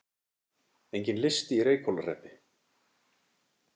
Enginn listi í Reykhólahreppi